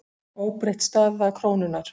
Óbreytt staða krónunnar